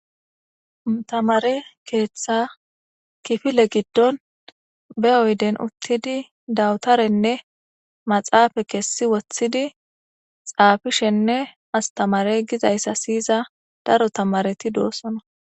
Taamare keeththa giddon daro taamaret dosona.dawtorane maxafe kethi wothidi xafishene timirte gizaysa daro tamareti dosona